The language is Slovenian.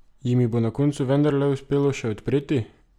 Jim jih bo na koncu vendarle uspelo še odpreti?